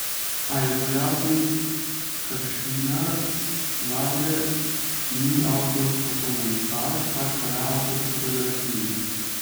A, je pojasnil Kršinar, Lavre ni avtor fotomontaž, pač pa le avtor fotografij.